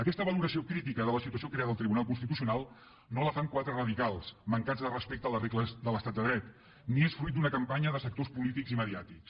aquesta valoració crítica de la situació creada al tribunal constitucional no la fan quatre radicals mancats de respecte a les regles de l’estat de dret ni és fruit d’una campanya de sectors polítics i mediàtics